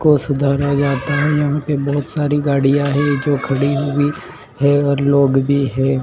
को सुधारा जाता है यहाँ पे बहोत सारी गाड़ियाँ है जो खड़ी हुई है और लोग भी हैं।